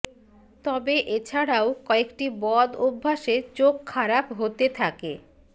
তবে এছাড়াও কয়েকটি বদ অভ্যাসে চোখ খারাপ হতে থাকে